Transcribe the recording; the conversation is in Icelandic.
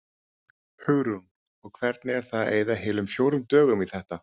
Hugrún: Og hvernig er það að eyða heilum fjórum dögum í þetta?